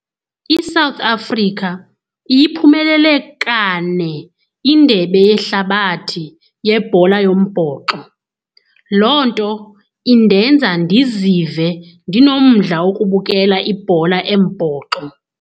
ISouth Africa iyiphumelele kane indebe yehlabathi yebhola yombhoxo. Loo nto indenza ndizive ndinomdla wokubukela ibhola embhoxo.